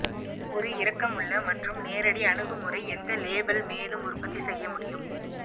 ஒரு இரக்கமுள்ள மற்றும் நேரடி அணுகுமுறை எந்த லேபல் மேலும் உற்பத்தி செய்ய முடியும்